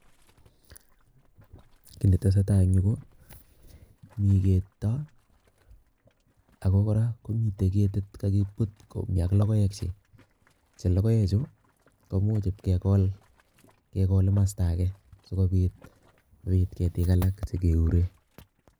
Kiy netesetai en yu ko, mi keto ago kora komite ketit kagibut komi ak logoekchi, che logoechu komuch ipkegol, kegol kimasta age sikobit ketik alak chekeure.